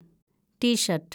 tea shirt